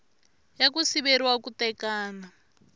ya ku siveriwa ku tekana